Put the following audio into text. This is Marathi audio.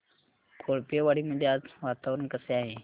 कोळपेवाडी मध्ये आज वातावरण कसे आहे